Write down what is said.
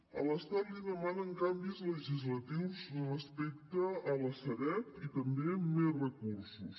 a l’estat li demanen canvis legislatius respecte a la sareb i també més recursos